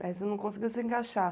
Mas você não conseguiu se encaixar.